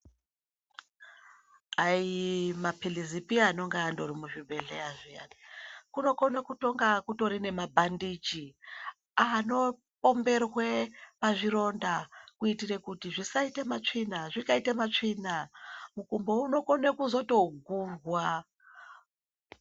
Aima philizipi anonga andori muzvibhehleya zviyani, kunokona kunge kutori nema bhandiji ano pomberwe pazvironda kuitira kuti zvisaite matsvina, zvikaite matsvina mukumbo unokone kuzo togurwa.